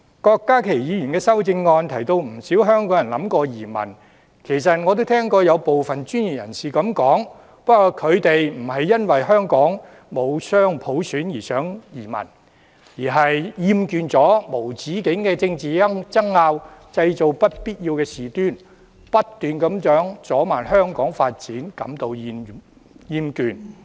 郭家麒議員的修正案提到不少香港人想移民，其實我亦聽過有部分專業人士這樣說，但他們不是因為香港沒有雙普選而想移民，而是厭倦了無止境的政治爭拗，製造不必要的事端，不斷阻慢香港發展，因而產生厭倦。